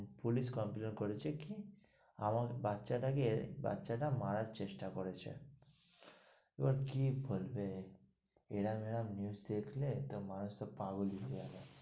Police complain করেছে কি? আমার বাচ্চা টাকে বাচ্চা টা মারার চেষ্টা করেছে? এবার কি বলবে? এইরম এইরম news দেখলে মানুষ পাগল ই হয়ে যাবে।